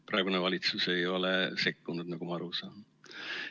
Praegune valitsus ei ole sekkunud, nagu ma aru saan.